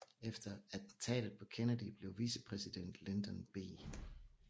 Efter attentatet på Kennedy blev vicepræsident Lyndon B